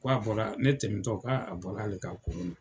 Ko a bɔra , ko ne tɛmɛtɔ k'a bɔra ale ka kolon na.